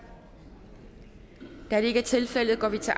da det ikke er tilfældet går vi til